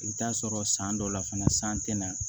I bɛ t'a sɔrɔ san dɔw la fana san tɛ na